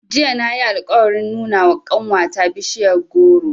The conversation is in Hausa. Jiya na yi alƙawarin nuna wa ƙanwata bishiyar goro.